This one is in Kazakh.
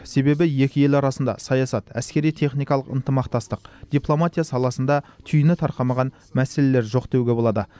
себебі екі ел арасында саясат әскери техникалық ынтымақтастық дипломатия саласында түйіні тарқамаған мәселелер жоқ деуге болады